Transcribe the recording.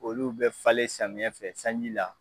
Olu bɛ falen samiɲɛ fɛ sanji la.